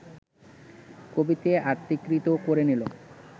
কবিতে আত্মীকৃত করে নিল